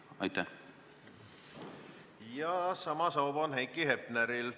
Sama soov on Heiki Hepneril.